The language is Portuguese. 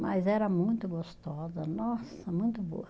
Mas era muito gostosa, nossa, muito boa.